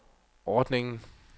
ordningen